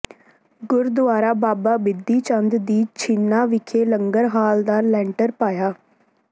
ਗੁਰਦੁਆਰਾ ਬਾਬਾ ਬਿਧੀ ਚੰਦ ਜੀ ਛੀਨਾ ਵਿਖੇ ਲੰਗਰ ਹਾਲ ਦਾ ਲੈਂਟਰ ਪਾਇਆ